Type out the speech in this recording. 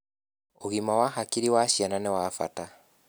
ũgima wa hakiri wa ciana niwabata